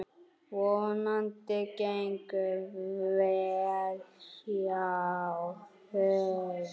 Vonandi gengur vel hjá þeim.